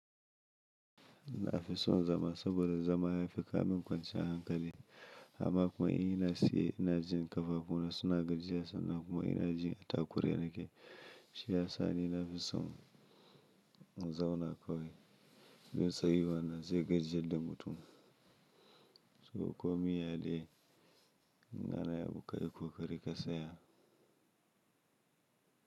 Ina fi son zama saboda zama ya fi ka min kwanciyan hankali. Amma kuma in ina siye, ina jin kafafuna suna gajiya sannan kuma ina jin a takure nake. Shi ya sa ni na fi son in zauna kawai don sayuwan nan zai gajiyar da mutum. To komi yaya dai, in nana yi abu ka yi kokari ka saya.